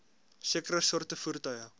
sekere soorte voertuie